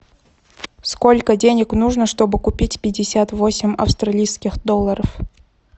сколько денег нужно чтобы купить пятьдесят восемь австралийских долларов